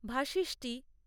ভাশিষ্টি